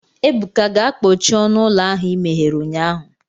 Ebuka, gaa kpochie ọnụ ụlọ ahụ i meghere ụnyahụ